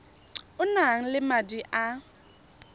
o nang le madi a